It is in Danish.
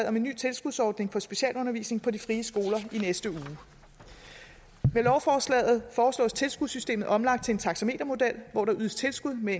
om en ny tilskudsordning for specialundervisning på de frie skoler i næste uge med lovforslaget foreslås tilskudssystemet omlagt til en taxametermodel hvor der ydes tilskud med